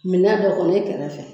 Mina dɔ kɔnɔ i kɛrɛfɛ